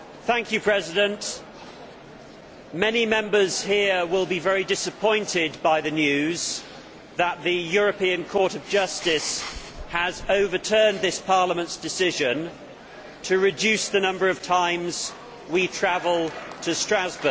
Mr President, many Members here will be very disappointed by the news that the European Court of Justice has overturned this Parliament's decision to reduce the number of times we travel to Strasbourg.